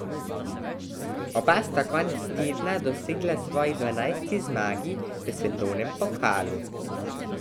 Oba sta konec tedna dosegla svoji dvanajsti zmagi v svetovnem pokalu.